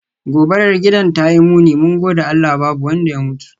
Gobarar gidan tayi muni, mun gode Allah babu wanda ya mutu.